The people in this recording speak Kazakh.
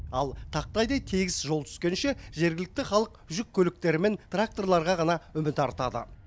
ал тақтайдай тегіс жол түскенше жергілікті халық жүк көліктері мен тракторларға ғана үміт артады